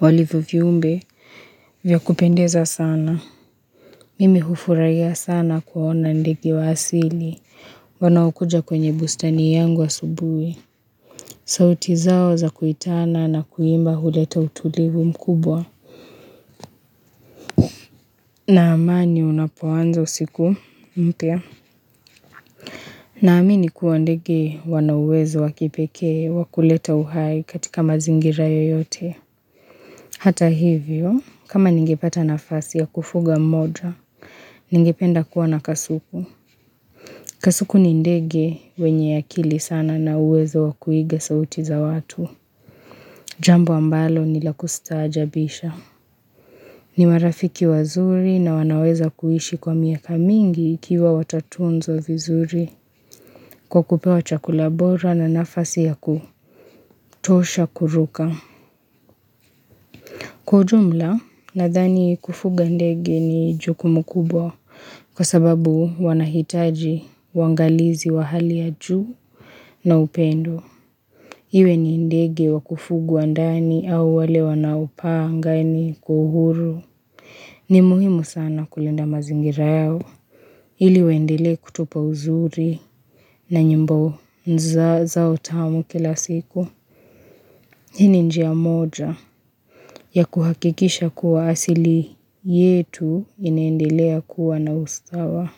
walivyo viumbe vya kupendeza sana. Mimi hufuraiya sana kuwaona ndege wa asili wanaokuja kwenye bustani yangu asubui. Sauti zao za kuitana na kuimba huleta utulivu mkubwa. Na amani unapoanza usiku mpya. Naamini kuwa ndege wana uwezo wa kipeke wakuleta uhai katika mazingira yoyote. Hata hivyo, kama ningepata nafasi ya kufuga mmoja, ningependa kuwa na kasuku. Kasuku ni ndege wenye akili sana na uwezo wa kuiga sauti za watu. Jambo ambalo nilakustajabisha. Ni marafiki wazuri na wanaweza kuishi kwa miaka mingi ikiwa watatunzwa vizuri. Kwa kupewa chakula bora na nafasi ya kutosha kuruka. Kwa ujumla nadhani kufuga ndege ni jukumu kubwa. Kwa sababu wanahitaji uangalizi wa hali ya juu na upendo. Iwe ni ndege wa kufugwa ndani au wale wanaopaa angani kwa uhuru. Ni muhimu sana kulinda mazingira yao. Ili waendele kutupa uzuri na nyimbo zao tamu kila siku. Hii ni njia moja ya kuhakikisha kuwa asili yetu inaendelea kuwa na ustawa.